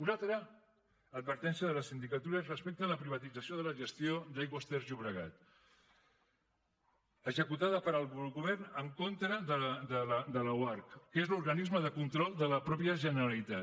una altra advertència de la sindicatura és respecte a la privatització de la gestió d’aigües ter llobregat executada pel govern en contra de l’oarcc que és l’organisme de control de la mateixa generalitat